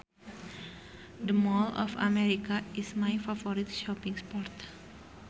The Mall of America is my favorite shopping spot